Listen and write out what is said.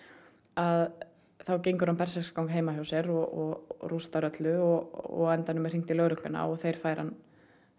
að þá gengur hann berserksgang heima hjá sér og rústar öllu og á endanum er hringt í lögregluna og þeir færa hann